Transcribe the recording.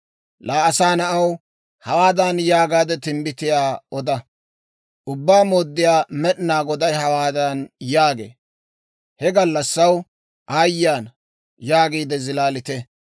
«Laa asaa na'aw, hawaadan yaagaade timbbitiyaa oda; ‹Ubbaa Mooddiyaa Med'inaa Goday hawaadan yaagee; «He gallassaw, Aayye ana! yaagiide zilaalite!